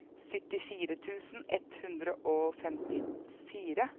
syttifire tusen ett hundre og femtifire